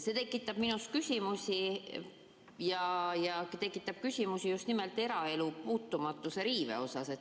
See tekitab minus küsimusi just nimelt eraelu puutumatuse riive osas.